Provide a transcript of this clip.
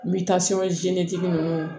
N bɛ taa tigi ninnu